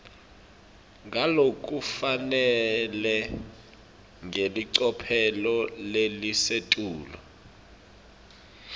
ngalokufanele ngelicophelo lelisetulu